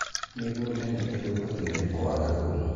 mĩgũnda nĩ ithũkagio nĩ kwaga thumu